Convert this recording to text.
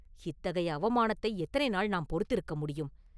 இத்தகைய அவமானத்தை எத்தனை நாள் நாம் பொறுத்திருக்கமுடியும்?